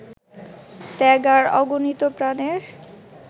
ত্যাগ আর অগণিত প্রাণের